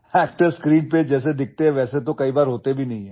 Actors are often not what they look like on screen